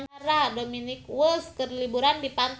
Dominic West keur liburan di pantai